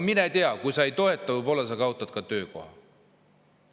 Mine tea, kui sa ei toeta, võib-olla sa kaotad töökoha.